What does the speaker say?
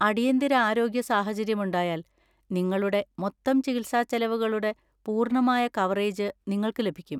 അടിയന്തിര ആരോഗ്യ സാഹചര്യം ഉണ്ടായാൽ, നിങ്ങളുടെ മൊത്തം ചികിത്സാ ചെലവുകളുടെ പൂർണ്ണമായ കവറേജ് നിങ്ങൾക്ക് ലഭിക്കും.